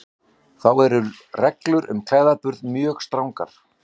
Þá eru reglur um klæðaburð mjög strangar.